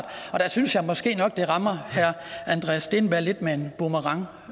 og der synes jeg måske nok at det rammer herre andreas steenberg lidt med en boomerang